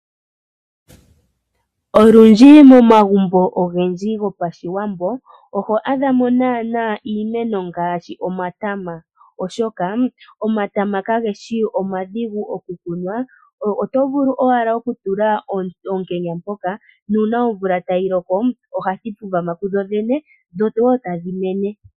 Olundji momagumbo ogendji gopashiwambo oho adhamo iimeno ngaashi omatama . Omatama kage shi omadhigu okukunwa. Oto vulu owala okutula oonkenya mpoka nuuna omvula tayi loko ohadhi thikama kudho dhene, etadhi koko.